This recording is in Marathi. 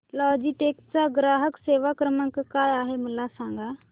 लॉजीटेक चा ग्राहक सेवा क्रमांक काय आहे मला सांगा